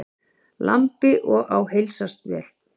Lambi og á heilsast vel.